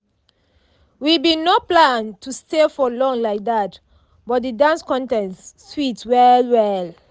we been no plan to stay for long like that but the dance contest sweet well well.